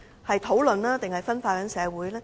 是討論還是分化社會？